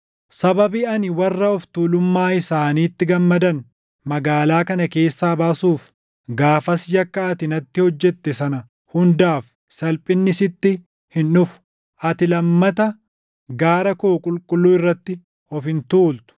Sababii ani warra of tuulummaa isaaniitti gammadan magaalaa kana keessaa baasuuf, gaafas yakka ati natti hojjette sana hundaaf salphinni sitti hin dhufu. Ati lammata gaara koo qulqulluu irratti of hin tuultu.